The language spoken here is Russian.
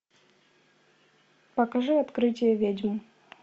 покажи открытие ведьм